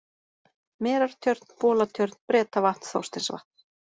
Merartjörn, Bolatjörn, Bretavatn, Þorsteinsvatn